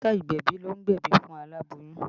Dókítà ìgbẹ̀bì ló ń gbebi fún alaboyun